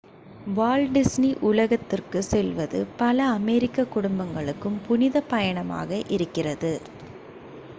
Walt Disney உலகத்துக்குச் செல்வது பல அமெரிக்கக் குடும்பங்களுக்கு புனிதப் பயணமாக இருக்கிறது